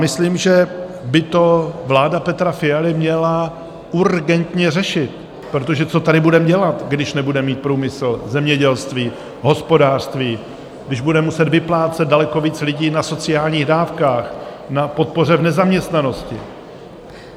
Myslím, že by to vláda Petra Fialy měla urgentně řešit, protože co tady budeme dělat, když nebudeme mít průmysl, zemědělství, hospodářství, když bude muset vyplácet daleko více lidí na sociálních dávkách, na podpoře v nezaměstnanosti.